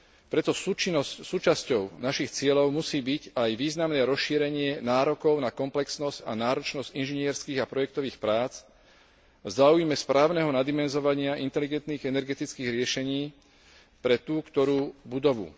Preto súčasťou našich cieľov musí byť aj významné rozšírenie nárokov na komplexnosť a náročnosť inžinierskych a projektových prác v záujme správneho nadimenzovania inteligentných energetických riešení pre tú ktorú budovu.